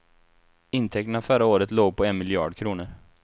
Intäkterna förra året låg på en miljard kronor.